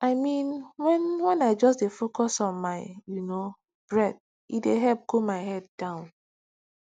i mean when when i just dey focus on my you know breath e dey help cool my head down